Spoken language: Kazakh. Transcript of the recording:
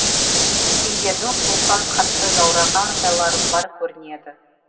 сендердің суықтан қатты жаураған жайларың бар көрінеді